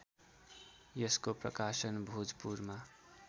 यसको प्रकाशन भोजपुरमा